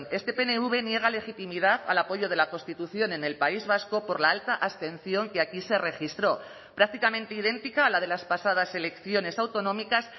este pnv niega legitimidad al apoyo de la constitución en el país vasco por la alta abstención que aquí se registró prácticamente idéntica a la de las pasadas elecciones autonómicas